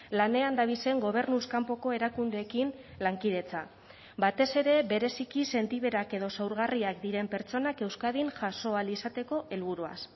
lanean dabizen gobernuz kanpoko erakundeekin lankidetza batez ere bereziki sentiberak edo zaurgarriak diren pertsonak euskadin jaso ahal izateko helburuaz